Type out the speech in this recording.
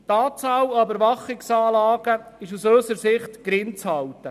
Die Anzahl der Überwachungsanlagen ist unseres Erachtens gering zu halten.